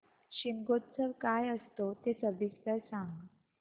शिमगोत्सव काय असतो ते सविस्तर सांग